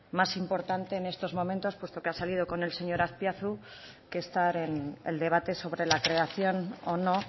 más importante en estos momentos puesto que ha salido con el señor azpiazu que estar en el debate sobre la creación o no